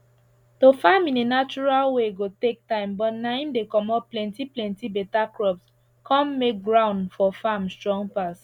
to farm in a natural way go take time but na im dey comot plenty plenty better crops con make ground for farm strong pass